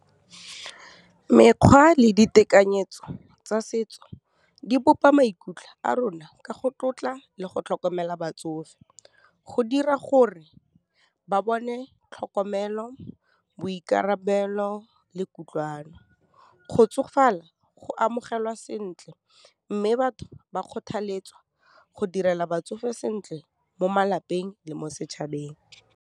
Mekgwa le ditekanyetso tsa setso, di bopa maikutlo a rona ka go tlotla le go tlhokomela batsofe, go dira gore ba bone tlhokomelo, boikarabelo le kutlwano. Go tsofala go amogelwa sentle, mme batho ba kgothaletsa go direla batsofe sentle mo malapeng le mo setšhabeng.